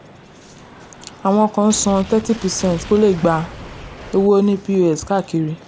àwọn kan ń san thirty percent kó le gba owó ní pos káàkiri.